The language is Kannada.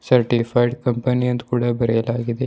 ಸರ್ಟಿಫೈಡ್ ಕಂಪನಿ ಅಂತ ಕೂಡ ಬರೆಯಲಾಗಿದೆ.